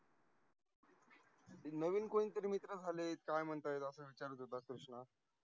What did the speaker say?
ते नवीन कोण तरी मित्र झालेत, काय म्हणताय? असा विचारत होता कृष्णा.